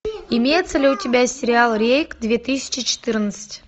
имеется ли у тебя сериал рейд две тысячи четырнадцать